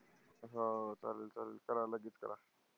हा, चालेल चालेल करा लगेच करा.